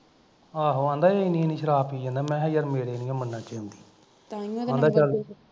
ਆਹੋ ਕਹਿੰਦਾ ਸੀ ਇੰਨੀ ਇੰਨੀ ਸ਼ਰਾਬ ਪੀ ਜਾਂਦਾ ਮੈਂ ਕਿਹਾ ਯਰ ਮੇਰੇ ਨਹੀਂਓ ਮੰਨਣ ਚ ਆਉਂਦੀ